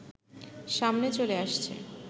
সামনে চলে আসছে